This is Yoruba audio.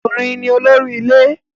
Ọkùnrin ni olórí ilé